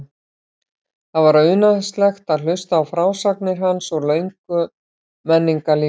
Það var unaðslegt að hlusta á frásagnir hans úr löngu menningarlífi.